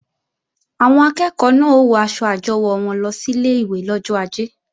Àwọn akẹ́ẹ̀kọ́ náà ó wọ aṣọ àjọwò wọn lọ sílé ìwé lọ́jọ ajé